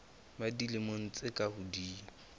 ba dilemo tse ka hodimo